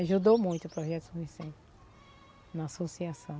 Ajudou muito o Projeto São Vicente na associação.